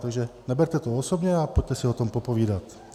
Takže neberte to osobně a pojďte si o tom popovídat.